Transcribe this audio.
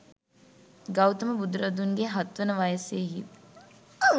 ගෞතම බුදුරදුන්ගේ හත් වන වසයෙහි දී